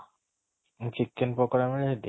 chicken ପକୋଡା ମିଳେ ସେଠି ?